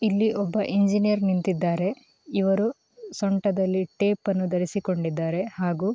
ಇಲ್ಲಿ ಒಬ್ಬ ಇಂಜಿನಿಯರ್ ನಿಂತಿದ್ದಾರೆ ಇವರು ಸೊಂಟದಲ್ಲಿ ಟೇಪನ್ನು ಧರಿಸಿಕೊಂಡಿದ್ದಾರೆ ಹಾಗೂ --